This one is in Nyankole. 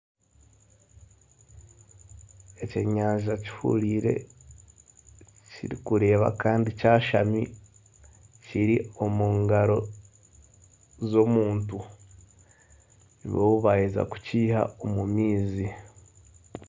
Ekyenyanja kihuriire kirikureeba kandi kyashami kiri omu ngaro z'omuntu nibwo baheeza kukiha omu maizi.